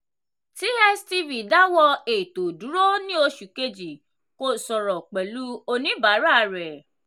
tstv dáwọ́ ètò dúró ní oṣù kejì kò sọ̀rọ̀ pẹ̀lú oníbàárà rẹ̀.